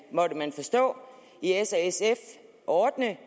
måtte man forstå i s og sf ordne